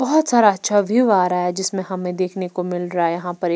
बहुत सारा अच्छा व्यू आ रहा है जिसमें हमें देखने को मिल रहा है यहां पर एक --